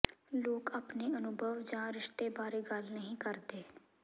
ਲੋਕ ਆਪਣੇ ਅਨੁਭਵ ਜਾਂ ਰਿਸ਼ਤੇ ਬਾਰੇ ਗੱਲ ਨਹੀਂ ਕਰਦੇ